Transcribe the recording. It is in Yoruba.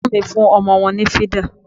Ẹ̀gbọ́n mi fún ọmọ wọn ní fídà